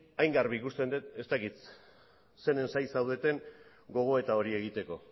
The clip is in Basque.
hain garbi ikusten dut ez dakit zeren zain zaudeten gogoeta hori egiteko